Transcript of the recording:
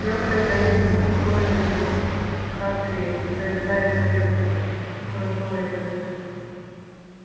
я уже да иду успокоил его хагрид залезая в своё кротовое пальто